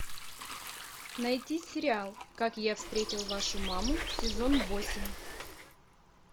найти сериал как я встретил вашу маму сезон восемь